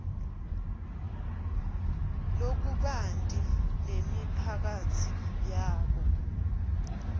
lokubanti nemiphakatsi yabo